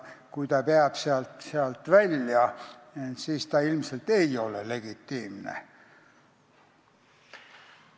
Kui see sealt välja jääb, siis ilmselt ei ole tegu legitiimse eesmärgiga.